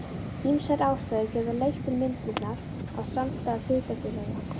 Ýmsar ástæður geta leitt til myndunar á samstæðum hlutafélaga.